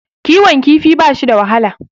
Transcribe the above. Kiwon kifi bashi da wahala.